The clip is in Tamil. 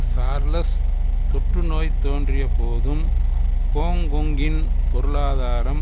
சார்லஸ் தொற்று நோய் தோன்றிய போதும் கோங்கொங்கின் பொருளாதாரம்